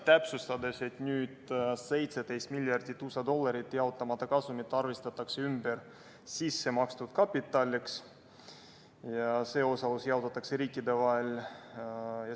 Täpsustus: nüüd arvestatakse 17 miljardit USA dollarit jaotamata kasumit ümber sissemakstud kapitaliks ja see osalus jaotatakse riikide vahel.